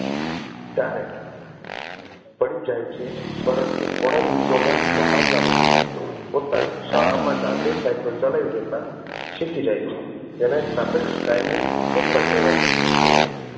ત્યારે પડી જાય છે પરંતુ થોડા દિવસો ના મહાવરા પછી પોતાની શાળા માં જાતે સાઇકલ ચલાવી જતાં શીખી જાય છે તેને સ્તાપેક્ષ કાયમી ફેરફાર કહેવાય છે.